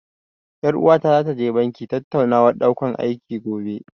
Ƴar uwata zata je banki tattaunawar ɗaukan aiki, gobe.